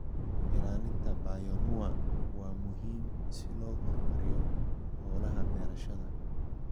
Ilaalinta bioanuwa waa muhiim si loo horumariyo hawlaha beerashada.